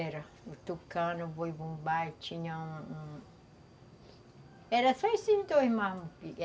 Era o tucano, o boi-bumbá, tinha um um... Era só esses dois mesmo.